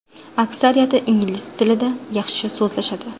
Aksariyati ingliz tilida yaxshi so‘zlashadi.